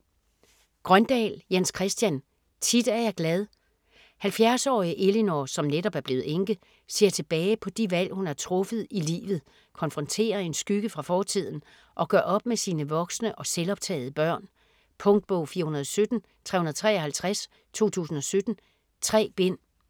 Grøndahl, Jens Christian: Tit er jeg glad 70-årige Elinor, som netop er blevet enke, ser tilbage på de valg hun har truffet i livet, konfronterer en skygge fra fortiden, og gør op med sine voksne og selvoptagede børn. Punktbog 417353 2017. 3 bind.